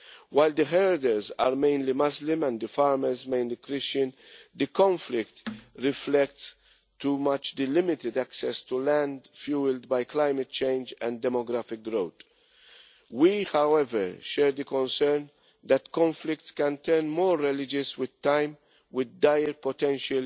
While the herders are mainly Muslim and the farmers mainly Christian, the conflict reflects the limited access to land fuelled by climate change and demographic growth. We, however, share the concern that conflicts can turn more religious with time, with dire potential